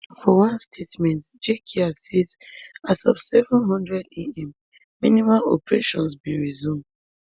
for one statement jkia say as of seven hundredam minimal operations bin resume